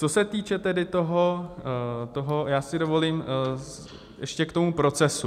Co se týče tedy toho - já si dovolím ještě k tomu procesu.